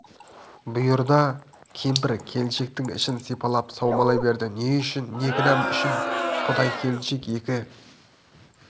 бұйырды кемпір келіншектің ішін сипалап саумалай берді не үшін не кінәм үшін құдай келіншек екі